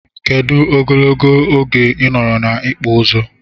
Kedu ogologo oge inọrọ na ikpụ ụzụ?